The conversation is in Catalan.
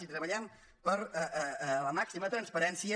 i treballem per la màxima transparència